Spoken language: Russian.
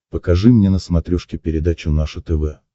покажи мне на смотрешке передачу наше тв